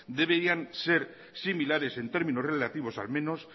deberían ser similares en términos relativos al menos